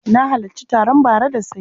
Na halarci taron bara da sanyi.